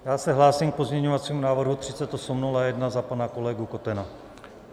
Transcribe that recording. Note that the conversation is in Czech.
Já se hlásím k pozměňovacímu návrhu 3801 za pana kolegu Kotena.